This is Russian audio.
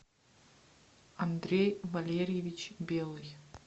андрей валерьевич белый